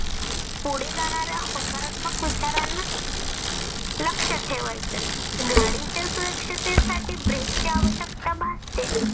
पुढे जाणाऱ्या होकारात्मक विचारंना लक्ष ठेवायचं. गाडीच्या सुरक्षतेसाठी break ची आवश्यकता भासते.